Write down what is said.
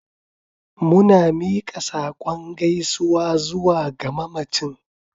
Muna miƙa saƙon gaisuwa zuwa ga mamacin